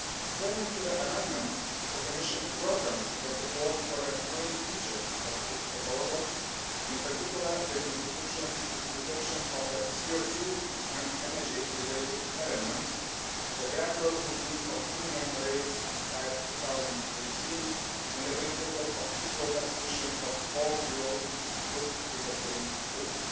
Turning to the amendments, the Commission welcomes the support for the main features of its proposal, in particular the introduction of a CO 2 and energy related element, a gradual increase of minimum rates by 2018 and the principle of equal taxation of all fuels put to the same use.